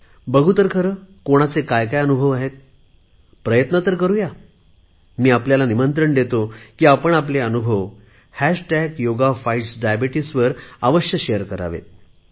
बघु तर खरे कोणाचे काय अनुभव आहेत प्रयत्न तर करु या मी आपल्याला निमंत्रण देतो की आपण आपले अनुभव हॅश्टॅग योगा फाइट्स डायबिटीज वर शेअर करावेत